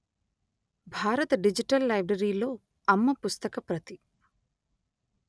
భారత డిజిటల్ లైబ్రరీలో అమ్మ పుస్తక ప్రతి